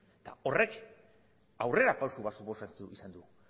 eta horrek aurrerapauso bat suposatu izan du